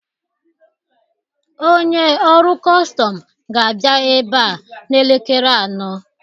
Onye ọrụ kọstọm ga-abịa ebe a n'elekere anọ